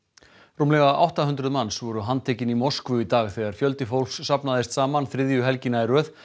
rúmlega átta hundruð manns voru handtekin í Moskvu í dag þegar fjöldi fólks safnaðist saman þriðju helgina í röð